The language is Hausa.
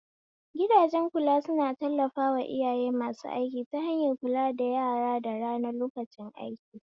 Gidajen kula suna tallafawa iyaye masu aiki ta hanyar kula da yara da rana lokacin aiki